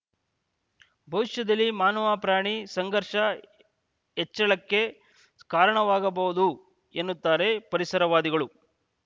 ಭವಿಷ್ಯದಲ್ಲಿ ಮಾನವಪ್ರಾಣಿ ಸಂಘರ್ಷ ಹೆಚ್ಚಳಕ್ಕೆ ಕಾರಣವಾಗಬಹುದು ಎನ್ನುತ್ತಾರೆ ಪರಿಸರವಾದಿಗಳು